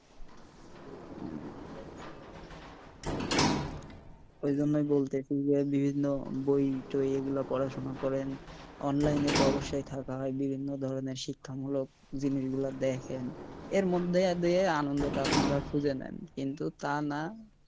ওই জন্য বলতেছি যে বিভিন্ন বই টই এইগুলা পড়াশোনা করেন অনলাইনে তো অবশ্যই থাকা হয় বিভিন্ন ধরণের শিক্ষা মূলক জিনিস গুলা দেখেন এর মধ্যে দিয়ে আনন্দটা খুঁজে নেন কিন্তু তা না,